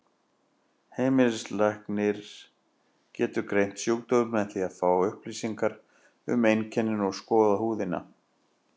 Heimilislæknir getur greint sjúkdóminn með því að fá upplýsingar um einkennin og skoða húðina.